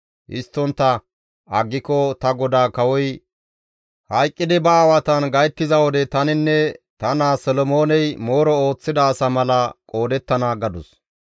Histtontta aggiko ta godaa kawoy hayqqidi ba aawatan gayttiza wode taninne ta naa Solomooney mooro ooththida asa mala qoodettana» gadus.